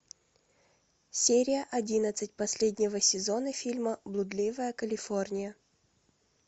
серия одиннадцать последнего сезона фильма блудливая калифорния